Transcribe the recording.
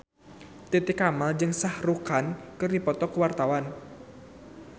Titi Kamal jeung Shah Rukh Khan keur dipoto ku wartawan